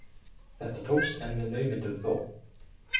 Þetta tókst, en með naumindum þó.